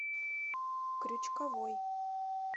крючковой